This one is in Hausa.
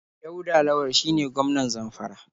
Dauda Lawal shine gwmanan Zamfara.